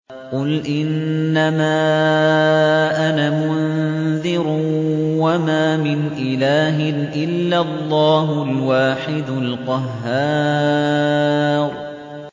قُلْ إِنَّمَا أَنَا مُنذِرٌ ۖ وَمَا مِنْ إِلَٰهٍ إِلَّا اللَّهُ الْوَاحِدُ الْقَهَّارُ